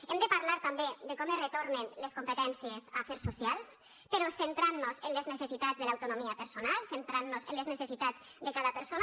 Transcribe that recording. hem de parlar també de com es retornen les competències a afers socials però centrant nos en les necessitats de l’autonomia personal centrant nos en les necessitats de cada persona